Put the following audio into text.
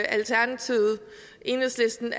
alternativet og enhedslisten